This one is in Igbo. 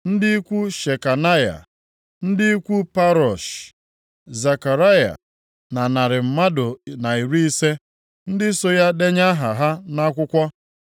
ndị ikwu Shekanaya; ndị ikwu Parosh, Zekaraya na narị mmadụ na iri ise (150) ndị so ya denye aha ha nʼakwụkwọ.